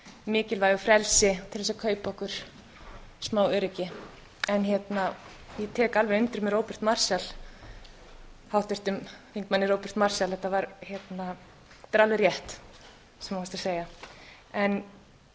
mikilvægu frelsi til að kaupa okkur smá öryggi ég tek alveg undir með háttvirtum þingmanni róberti marshall þetta er alveg rétt sem þú varst